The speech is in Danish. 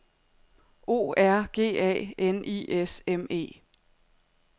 O R G A N I S M E